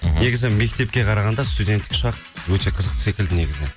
мхм негізі мектепке қарағанда студенттік шақ өте қызықты секілді негізі